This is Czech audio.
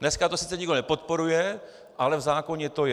Dneska to sice nikdo nepodporuje, ale v zákoně to je.